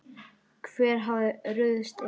Hver hafði ruðst inn?